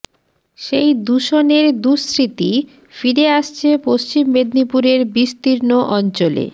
সেই দূষণের দুস্মৃতি ফিরে আসছে পশ্চিম মেদিনীপুরের বিস্তীর্ণ অঞ্চলে